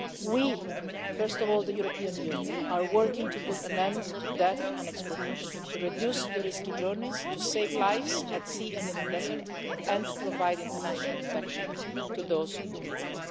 rosy. We, first of all the European Union, are working to put an end to death and exploitation, to reduce risky journeys, to save lives at sea and in the desert and to provide international protection to those who need